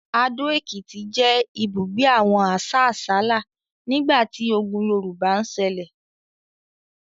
Ado-Ekiti jẹ ibugbe awon asasala nigbati ogùn Yorùbá ń ṣẹlẹ